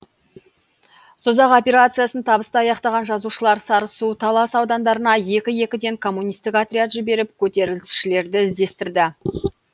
созақ операциясын табысты аяқтаған жазалаушылар сарысу талас аудандарына екі екіден коммунистік отряд жіберіп көтерілісшілерді іздестірді